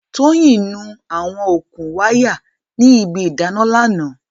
Tóyìn nu àwọn okùn wáyà ní ibi ìdáná lánàá.